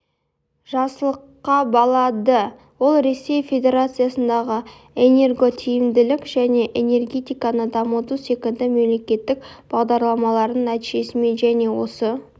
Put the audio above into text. жақсылыққа балады ол ресей федерациясындағы энерготиімділік және энергетиканы дамыту секілді мемлекеттік бағдарламаларының нәтижесімен және осы